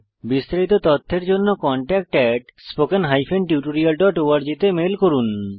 বিস্তারিত তথ্যের জন্য contactspoken tutorialorg তে ইমেল করুন